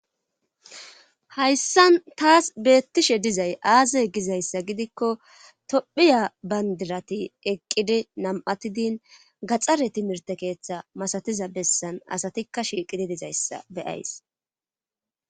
Hayssan taas beettishe dizay aaze gizayssa gidikko tophphiya bandirati eqqidi nam'atidin gaxxare timirte keeththa masatiza bessan asatikka shiiqidi dizayssa be'ays